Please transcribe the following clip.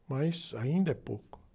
Mas ainda é pouco.